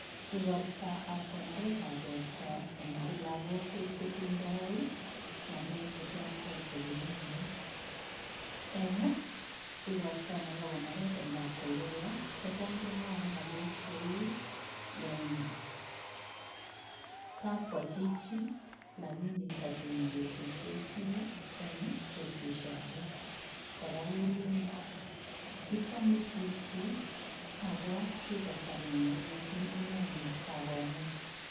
Ingoraktaa ab koneretbab borto en kila kokwet kotindai ii ngalek che terter chekimwae eng igortoi nebo konoret en kapkokoyoo ko chaam memwae ngalek che uu kakwaa chichi lakini tatuun ketuitosi eng betusiek alaak kora kelen kichame chichi ago kikochaam missing mungu ineni kakomuut.